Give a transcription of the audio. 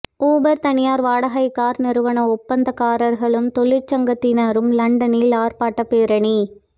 Uber தனியார் வாடகைக் car நிறுவன ஒப்பந்தக்காரர்களும் தொழிற்சங்கத்தினரும் லண்டனில் ஆர்ப்பாட்டப் பேரணி